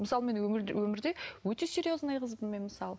мысалы мен өмірде өте серезный қызбын мен мысалы